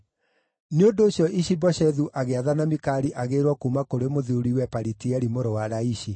Nĩ ũndũ ũcio Ishi-Boshethu agĩathana Mikali agĩĩrwo kuuma kũrĩ mũthuuriwe Palitieli mũrũ wa Laishi.